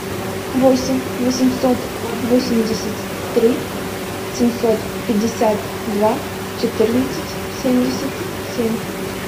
восемь восемьсот восемьдесят три семьсот пятьдесят два четырнадцать семьдесят семь